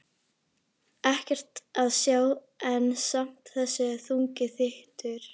Ekkert að sjá en samt þessi þungi þytur.